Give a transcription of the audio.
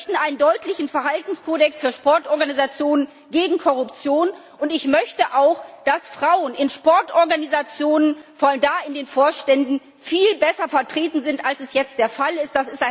Wir möchten einen deutlichen Verhaltenskodex für Sportorganisationen gegen Korruption, und ich möchte auch, dass Frauen in Sportorganisationen, und zwar vor allem in den Vorständen, viel besser vertreten sind, als es jetzt der Fall ist.